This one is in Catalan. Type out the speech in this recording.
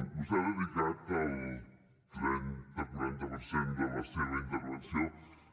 vostè ha dedicat el trenta quaranta per cent de la seva intervenció